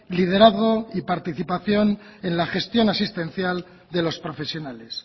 liderazgo y participación en la gestión asistencial de los profesionales